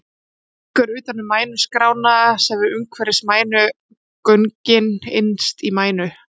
Hún liggur utan um mænugrána sem er umhverfis mænugöngin innst í mænu.